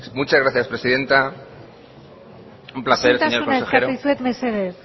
muchas gracias presidenta un placer señor consejero isiltasuna eskatzen dizuet mesedez